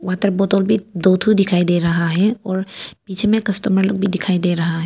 Water बोतल भी दो ठो दिखाई दे रहा है और पिछे में कस्टमर लोग भी दिखाई दे रहा है।